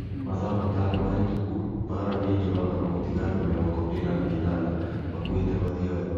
Mathaa matano mahĩtũku Mbaara nĩ njũragano gũtiga andũ mĩrongo ina na inana makuĩte Mathioya